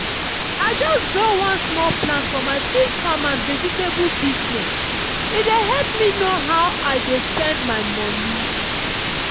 i just draw one small plan for my fish farm and vegetable business e dey help me know how i dey spend my money.